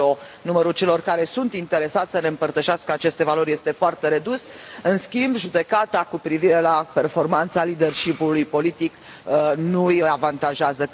Acolo, numărul celor care sunt interesați să ne împărtășească aceste valori este foarte redus, în schimb judecata cu privire la performanța conducerii politice nu îi avantajează.